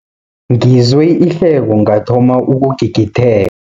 Ngizwe ihleko ngathoma ukugigithe